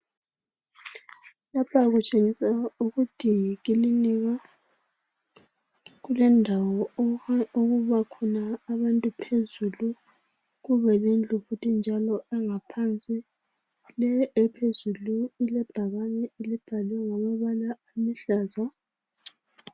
Lapha kutshengisa ukuthi yikilinika . Kulendawo okubakhona abantu phezulu kubelendlu futhi njalo engaphansi. Le ephezulu ilebhakane elibhalwe ngamabala aluhlaza.